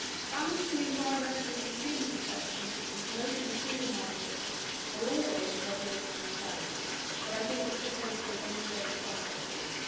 Balancing environmental and consumer protection and promoting the single market are always a regulatory challenge, but I think this proposal has moved us some way forward.